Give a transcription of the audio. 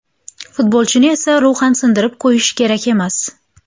Futbolchini esa ruhan sindirib qo‘yish kerak emas.